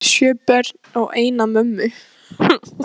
Hvað ertu að tala um sjö börn og eina mömmu?